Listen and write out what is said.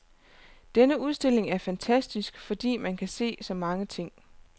Denne udstilling er fantastisk, fordi man kan se så mange ting.